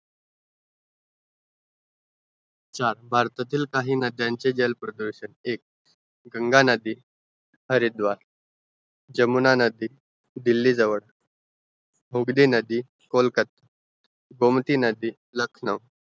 भारतातील काहि नद्यांचे जल प्रदूषण गंगा नदी हरिद्वार जमुना नदी दिली जवळ मोगली नदी कोलकता गोमटी नदी लखनौ